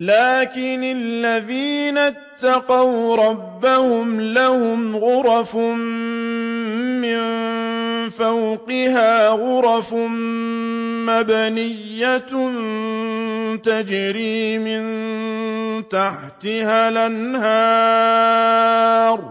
لَٰكِنِ الَّذِينَ اتَّقَوْا رَبَّهُمْ لَهُمْ غُرَفٌ مِّن فَوْقِهَا غُرَفٌ مَّبْنِيَّةٌ تَجْرِي مِن تَحْتِهَا الْأَنْهَارُ ۖ